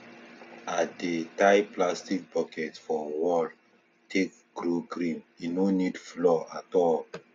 i dey tie plastic bucket for wall take grow green e no need floor at all